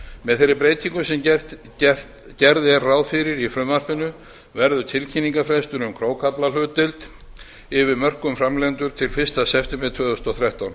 með þeirri breytingu sem gert er ráð fyrir í frumvarpinu verður tilkynningarfrestur um krókaflahlutdeild yfir mörkum framleiðenda til fyrsta september tvö þúsund og þrettán